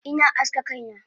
Ina aske kaina